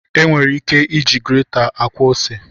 E nwere ike iji greta akwọ ose